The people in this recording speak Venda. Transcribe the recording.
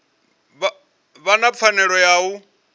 vha na pfanelo ya u